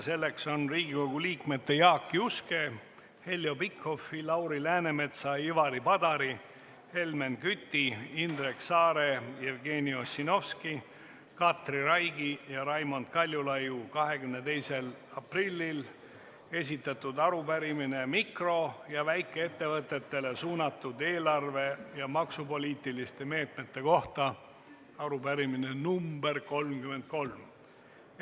Selleks on Riigikogu liikmete Jaak Juske, Heljo Pikhofi, Lauri Läänemetsa, Ivari Padari, Helmen Küti, Indrek Saare, Jevgeni Ossinovski, Katri Raigi ja Raimond Kaljulaidi 22. aprillil esitatud arupärimine mikro- ja väikeettevõtetele suunatud eelarve- ja maksupoliitiliste meetmete kohta – arupärimine nr 33.